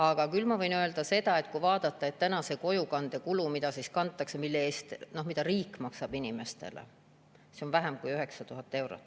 Aga küll võin öelda seda, et kui vaadata kojukande kulu, mida riik maksab inimeste eest, siis see on vähem kui 9000 eurot.